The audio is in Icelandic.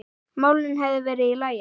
málin hefðu verið í lagi.